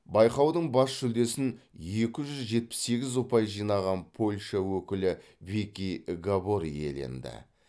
байқаудың бас жүлдесін екі жүз жетпіс сегіз ұпай жинаған польша өкілі вики габор иеленді